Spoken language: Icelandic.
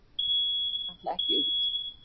Ætla ekki út